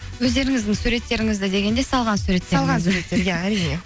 өздеріңіздің суреттеріңізді дегенде салған